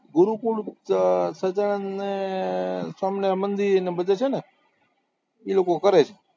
ગુરુકુળ, સહજાનંદને સ્વામિનારાયણ મંદિર ને બધે છે ને ઈ લોકો કરે છે